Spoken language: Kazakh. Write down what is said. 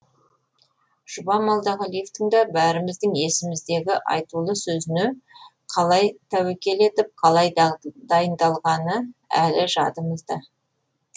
жұбан молдағалиевтың да бәріміздің есіміздегі айтулы сөзіне қалай тәуекел етіп қалай дайындалғаны әлі жадымызда